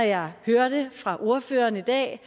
jeg hørte fra ordføreren i dag